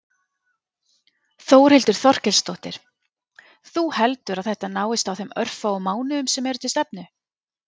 Þórhildur Þorkelsdóttir: Þú heldur að þetta náist á þeim örfáu mánuðum sem eru til stefnu?